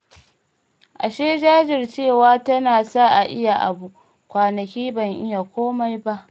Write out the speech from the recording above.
Ashe jajircewa tana sa a iya abu, kwanaki ban iya komai ba